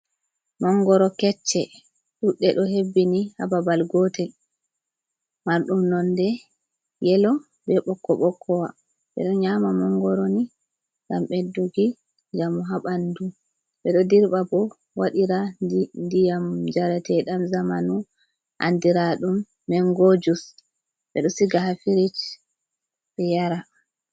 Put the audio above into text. Mangoro kecce, ɗuɗɗe, Ɗo hebbini hababal gotel. mardum non de yelo, be bokko bokkowa, bedo nyama mangoroni gam ɓeddugi njamu habandu be do dirba bo wadira ndiyam jaratedam zamanu andira dum mengojus bedo siga ha firish be Yara.